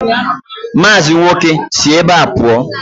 Mazi nwoke, si ebe a pụọ!